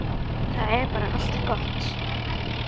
Það er bara allt gott.